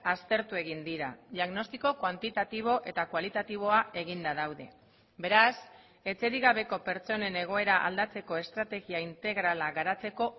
aztertu egin dira diagnostiko kuantitatibo eta kualitatiboa eginda daude beraz etxerik gabeko pertsonen egoera aldatzeko estrategia integrala garatzeko